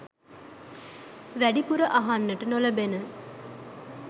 වෑඩිපුර අහන්ට නොලෑබෙන